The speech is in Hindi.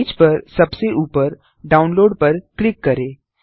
पेज पर सबसे ऊपर डाउनलोड पर क्लिक करें